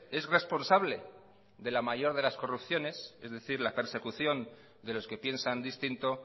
es responsable de la mayor de las corrupciones es decir la persecución de los que piensan distinto